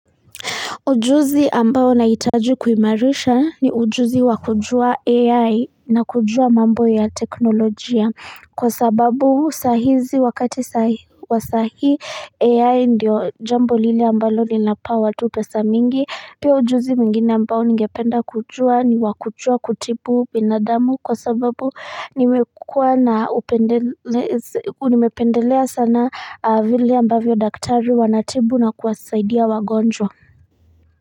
Ujuzi ambao naitaji kuimarisha ni ujuzi wakujua ai na kujua mambo ya teknolojia kwa sababu sahizi wakati wa sahi ai ndio jambo lili ambalo nina pa watu pesa mingi pia ujuzi mingine ambao ningependa kujua ni wakujua kutipu binadamu kwa sababu nimekua na upendelea sana vile ambavyo daktari wanatibu na kuwasaidia wagonjwa.